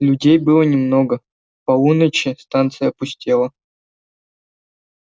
людей было немного к полуночи станция пустела